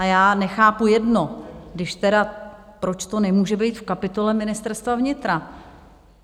A já nechápu jedno, když tedy, proč to nemůže být v kapitole Ministerstva vnitra.